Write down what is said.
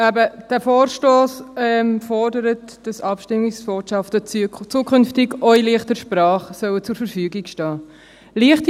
Dieser Vorstoss fordert, dass Abstimmungsbotschaften zukünftig auch in «leichter Sprache» zur Verfügung stehen sollen.